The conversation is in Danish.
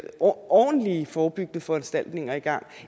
ordentlige forebyggende foranstaltninger i gang